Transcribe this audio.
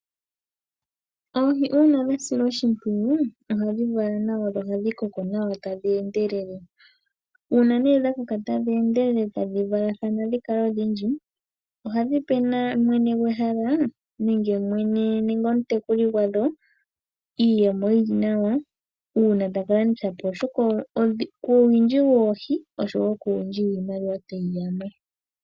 Oohi uuna dha silwa oshimpwiyu ohadhi vala nawa na ohadhi koko nawa tadhi endelele. Uuna nee dha koka tadhi endelele tadhi valathana dhi kale odhindji, ohadhi pe na mwene gwehala nenge omutekuli gwadho iiyemo yi li nawa. Uuna ta ka landitha po dhimwe oshoka kuuwindji woohi owo kuuwindji wiimaliwa tayi ya mo.